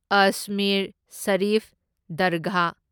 Ajmer Sharif Dargah